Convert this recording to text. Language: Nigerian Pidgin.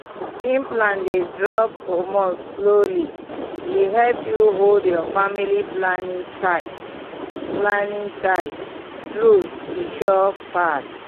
implant dey drop hormone slowly e help you hold your family planning tight. planning tight. true e sure pass!